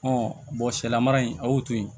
sɛlamara in a y'o to yen